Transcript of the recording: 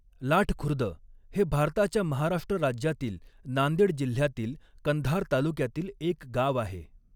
लाठखुर्द हे भारताच्या महाराष्ट्र राज्यातील नांदेड जिल्ह्यातील कंधार तालुक्यातील एक गाव आहे.